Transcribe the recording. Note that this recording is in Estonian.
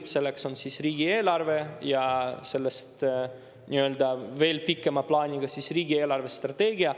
Selleks on riigieelarve ja sellest nii-öelda veel pikema plaaniga riigi eelarvestrateegia.